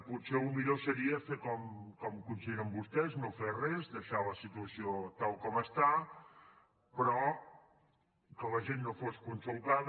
potser el millor seria fer el que consideren vostès no fer res deixar la situació tal com està que la gent no fos consultada